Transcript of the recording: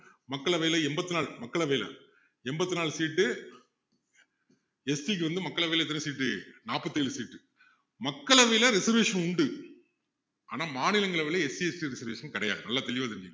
மக்களவையில எண்பத்து நாலு மக்களவையில எண்பத்து நாலு seat ST க்கு வந்து மக்களவைல எத்தனை seat உ நாற்பத்து ஏழு seat உ மக்களவையில reservation உண்டு ஆனா மாநிலங்களவையில SCST reservation கிடையாது நல்லா தெளிவா தெரிஞ்சுக்கங்க